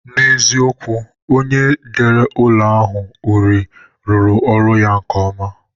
N'eziokwu, onye dere ụlọ a uri rụrụ ọrụ ya nke ọma